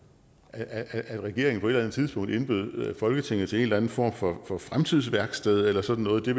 at regeringen på et eller andet tidspunkt indbød folketinget til en eller anden form for fremtidsværksted eller sådan noget det